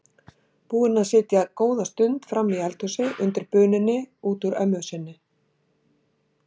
Búin að sitja góða stund frammi í eldhúsi undir bununni út úr ömmu sinni.